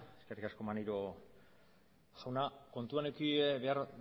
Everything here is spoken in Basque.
eskerrik asko maneiro jauna kontuan eduki behar